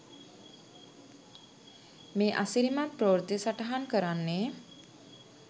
මේ අසිරිමත් ප්‍රවෘත්තිය සටහන් කරන්නේ